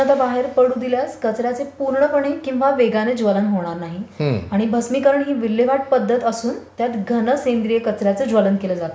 उष्णता बाहेर पडू दिल्यास कचर् याचे पुर्णपणे किंवा वेगाने ज्वलन होणार नाही आणि भस्मिकरण ही विल्हेवाट पद्धत असून त्यात घन सेंद्रिय कचर् याचे ज्वलन केले जाते.